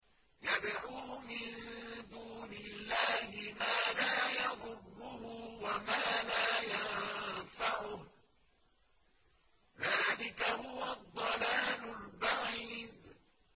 يَدْعُو مِن دُونِ اللَّهِ مَا لَا يَضُرُّهُ وَمَا لَا يَنفَعُهُ ۚ ذَٰلِكَ هُوَ الضَّلَالُ الْبَعِيدُ